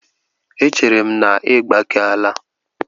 Echere m na ị gbakeela?